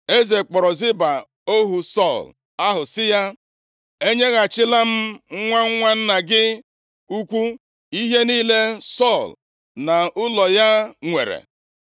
Eze kpọrọ Ziba ohu Sọl ahụ sị ya, “Enyeghachila m nwa nwa nna gị ukwu ihe niile Sọl na ụlọ ya nwere.